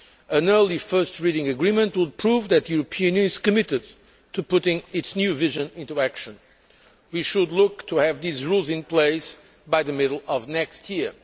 An early first reading agreement would prove that the European Union is committed to putting its new vision into action. We should look to have these rules in place by the middle of next year.